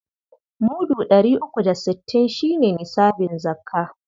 Mudu ɗari uku da sittin shi ne nisabin zakka..